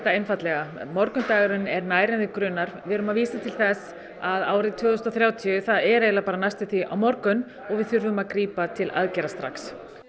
einfaldlega morgundagurinn er nær en þig grunar við erum að vísa til þess að árið tvö þúsund og þrjátíu er næstum því á morgun og við þurfum að grípa til aðgerða strax